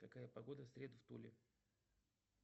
какая погода в среду в туле